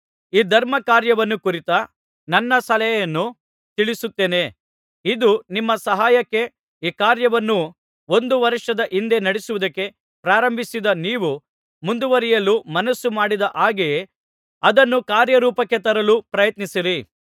ಈ ಧರ್ಮಕಾರ್ಯವನ್ನು ಕುರಿತ ನನ್ನ ಸಲಹೆಯನ್ನು ತಿಳಿಸುತ್ತೇನೆ ಇದು ನಿಮ್ಮ ಸಹಾಯಕ್ಕೆ ಈ ಕಾರ್ಯವನ್ನು ಒಂದು ವರ್ಷದ ಹಿಂದೆ ನಡೆಸುವುದಕ್ಕೆ ಪ್ರಾರಂಭಿಸಿದ ನೀವು ಮುಂದುವರಿಯಲು ಮನಸ್ಸು ಮಾಡಿದ ಹಾಗೆಯೇ ಅದನ್ನು ಕಾರ್ಯರೂಪಕ್ಕೆ ತರಲು ಪ್ರಯತ್ನಿಸಿರಿ